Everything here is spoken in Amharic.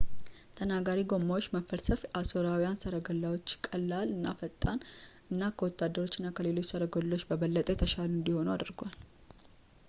ተናጋሪ ጎማዎች መፈልሰፍ የአሦራውያን ሠረገላዎችን ቀላል እና ፈጣን እና ከወታደሮች እና ከሌሎች ሰረገሎች በበለጠ የተሻሉ እንዲሆኑ አድርጓል